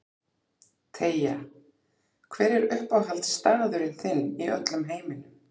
Teygja Hver er uppáhaldsstaðurinn þinn í öllum heiminum?